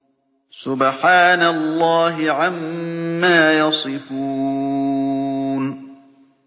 سُبْحَانَ اللَّهِ عَمَّا يَصِفُونَ